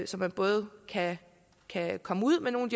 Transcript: så man både kan kan komme ud med nogle